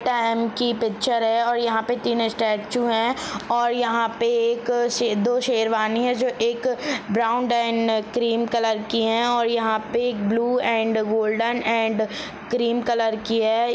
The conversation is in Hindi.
की पिक्चर है और यहाँ पे तीन स्टेचू है और यहाँ पे एक क शे दो शेरवानी है जो एक ब्राउन एंड क्रीम कलर की है और यहाँ पे एक blue and golden and cream colour की है।